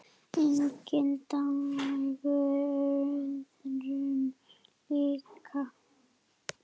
Enginn dagur öðrum líkur.